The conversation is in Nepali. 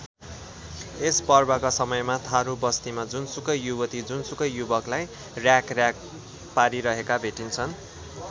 यस पर्वका समयमा थारू बस्तीमा जुनसुकै युवती जुनसुकै युवकलाई र्‍याखर्‍याख पारिरहेका भेटिन्छन्।